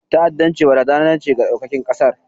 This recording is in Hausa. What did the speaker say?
ta'addanci barazana ce ga ɗaukacin ƙasar